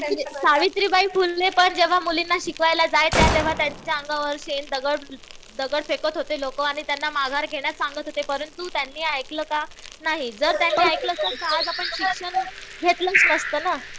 सावित्रीबाई फुले पण जेव्हा मुलींना शिकवायला जायच्या. त्यांच्या अंगावर शेण, दगड फेकर होते लोकं आणि त्यांना माघार घेण्यास सांगत होते. परंतु त्यांनी ऐकलं का? नाही. जर त्यांनी ऐकलं असतं तर आज आपण शिक्षण घेतलंच नसत ना.